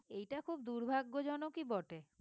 এইটা খুব দুর্ভাগ্যজনকই বটে